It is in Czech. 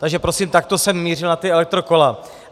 Takže prosím, takto jsem mířil na ta elektrokola.